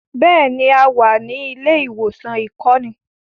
Bẹ́ẹ̀ni, a wà ní ilé-ìwòsàn ìkọ́ni.